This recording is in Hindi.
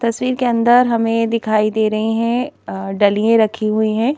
तस्वीर के अंदर हमें दिखाई दे रही हैं डलियां रखी हुई हैं।